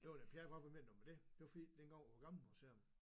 Det var da per hva hvad mener du med det? Det var fordi dengang på det gamle museum